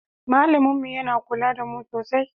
Malamin mu yana kula da mu sosai.